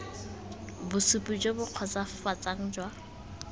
bosupi jo bo kgotsofatsang jwa